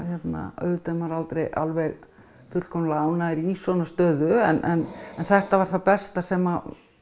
auðvitað er maður aldrei fullkomlega ánægður í svona stöðu en þetta var það besta sem